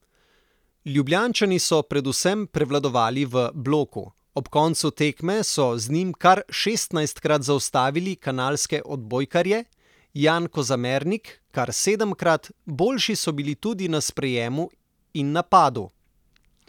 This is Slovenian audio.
Ljubljančani so predvsem prevladovali v bloku, ob koncu tekme so z njim kar šestnajstkrat zaustavili kanalske odbojkarje, Jan Kozamernik kar sedemkrat, boljši so bili tudi na sprejemu in napadu.